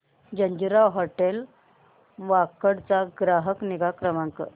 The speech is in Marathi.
जिंजर हॉटेल वाकड चा ग्राहक निगा नंबर